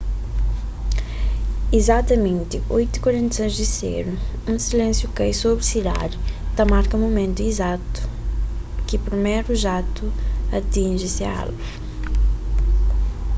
izatamenti 8:46 di sedu un silénsiu kai sobri sidadi ta marka mumentu izatu ki priméru jatu atinji se alvu